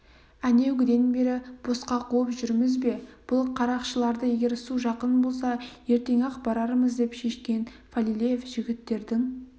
әнеугіден бері босқа қуып жүрміз бе бұл қарақшыларды егер су жақын болса ертең-ақ барармыз деп шешкен фалилеев жігіттердің